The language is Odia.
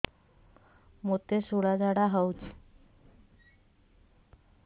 ମୋତେ ଶୂଳା ଝାଡ଼ା ହଉଚି